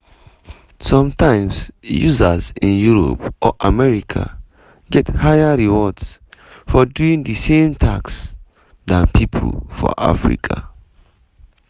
sometimes users in europe or america get higher rewards for doing di same tasks dan pipo for africa.